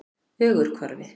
Ögurhvarfi